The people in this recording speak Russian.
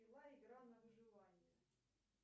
пила игра на выживание